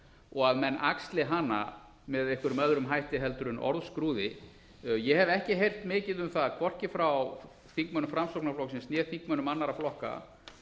og að menn axli hana með einhverjum öðrum hætti en orðskrúði ég hef ekki heyrt mikið um það hvorki frá þingmönnum framsóknarflokksins né þingmönnum annarra flokka